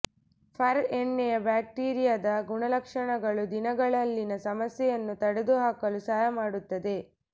fur ಎಣ್ಣೆಯ ಬ್ಯಾಕ್ಟೀರಿಯಾದ ಗುಣಲಕ್ಷಣಗಳು ದಿನಗಳಲ್ಲಿನ ಸಮಸ್ಯೆಯನ್ನು ತೊಡೆದುಹಾಕಲು ಸಹಾಯ ಮಾಡುತ್ತದೆ